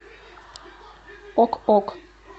ок ок